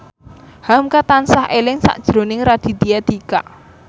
hamka tansah eling sakjroning Raditya Dika